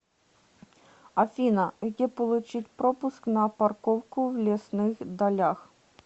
афина где получить пропуск на парковку в лесных далях